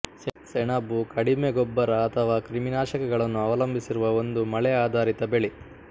ಸೆಣಬು ಕಡಿಮೆ ಗೊಬ್ಬರ ಅಥವಾ ಕ್ರಿಮಿನಾಶಕಗಳನ್ನು ಅವಲಂಬಿಸಿರುವ ಒಂದು ಮಳೆಆಧಾರಿತ ಬೆಳೆ